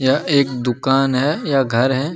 यह एक दुकान है या घर है।